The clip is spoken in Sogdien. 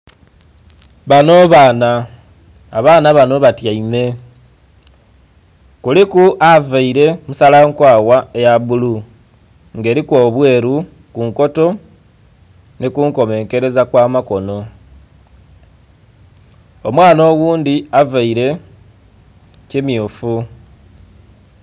Bano baana, abaana banho batyaime, kuliku avaire musala nkwagha ya bulu nga eriku obweru kunkoto nhi ku nkomenkereza kwa makono, omwaana oghundhi avaire ki myufu.